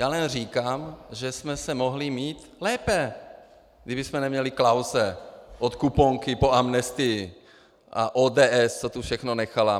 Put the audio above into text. Já jen říkám, že jsme se mohli mít lépe, kdybychom neměli Klause od kuponky po amnestii a ODS, co tu všechno nechala.